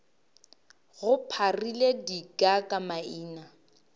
go pharile dika le maina